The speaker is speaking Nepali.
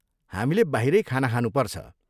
हामीले बाहिरै खाना खानुपर्छ।